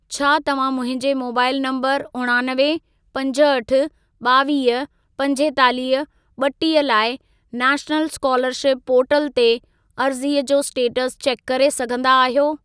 छा तव्हां मुंहिंजे मोबाइल नंबर उणानवे, पंजहठि, ॿावीह, पंजेतालीह, ॿटीह लाइ नैशनल स्कोलरशिप पोर्टल ते अर्ज़ीअ जो स्टेटस चेक करे सघंदा आहियो?